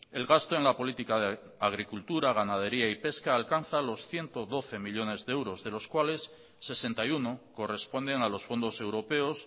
el gasto en la política de agricultura ganadería y pesca alcanzan los ciento doce millónes de euros de los cuales sesenta y uno corresponden a los fondos europeos